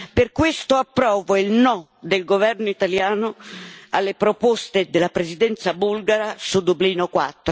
Per questo approvo il no del governo italiano alle proposte della Presidenza bulgara su Dublino IV.